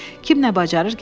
Kim nə bacarır gətirsin.